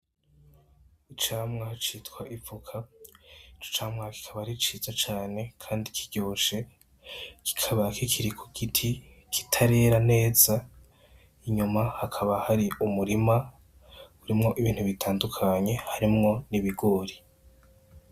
Icamwa citwa ivoka, ico camwa kikaba ari ciza cane kandi kiryoshe, kikaba kikiri ku giti kitarera neza, inyuma hakaba hari umurima urimwo ibintu bitandukanye, harimwo n'ibigori.